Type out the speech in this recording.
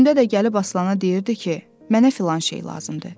Gündə də gəlib Aslana deyirdi ki, mənə filan şey lazımdır.